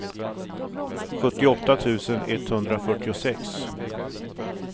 sjuttioåtta tusen etthundrafyrtiosex